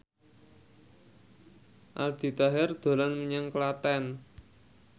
Aldi Taher dolan menyang Klaten